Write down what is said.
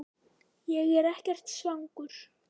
Ég er ekkert svangur